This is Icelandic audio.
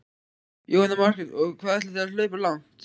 Jóhanna Margrét: Og hvað ætlið þið að hlaupa langt?